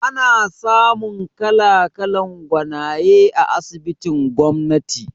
Ana samun kala-kalan gwanaye a asibitin gwamnati